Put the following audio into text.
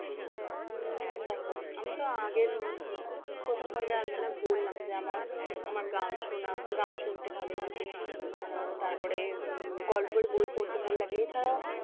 উম দেখো আমি তো আগের প্রথম পর্যায়ে আলোচনায় বললাম যে আমার আমার গান শোনা গান শুনতে ভালো লাগে তার পরে উম গল্পের বই পড়তে ভালো লাগে এছাড়াও